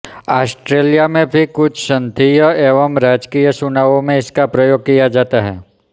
Australia में भी कुछ संघीय एवं राज्यीय चुनावों में इसका प्रयोग किया जाता है